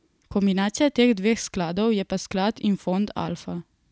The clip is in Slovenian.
Kombinacija teh dveh skladov je pa sklad Infond Alfa.